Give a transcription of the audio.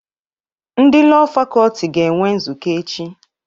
Ndị Lọọ Fakọlti ga-enwe nzukọ echi.